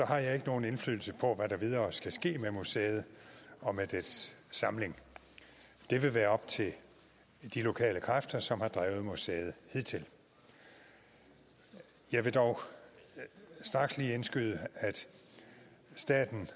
har jeg ikke nogen indflydelse på hvad der videre skal ske med museet og med dets samling det vil være op til de lokale kræfter som har drevet museet hidtil jeg vil dog straks lige indskyde at staten